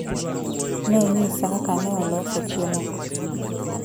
Nonyisa kaka neoloso chiemogo.